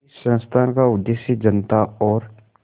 इस संस्थान का उद्देश्य जनता और